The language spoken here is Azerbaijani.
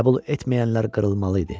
Qəbul etməyənlər qırılmalı idi.